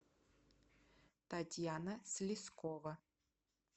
татьяна слезкова